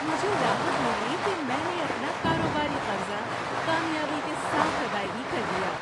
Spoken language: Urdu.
مجھے راحت ملی کہ میں نے اپنا کاروباری قرضہ کامیابی کے ساتھ ادائیگی کر دیا۔